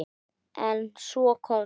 En svo kom það.